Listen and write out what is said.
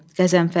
Qəzənfər.